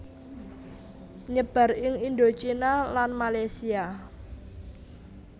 Nyebar ing Indochina lan Malesia